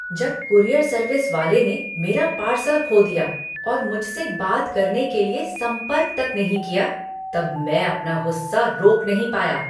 जब courier service वाले ने मेरा पार्सल खो दिया और मुझसे बात करने के लिए संपर्क तक नहीं किया तब मैं अपना गुस्सा रोक नहीं पाया।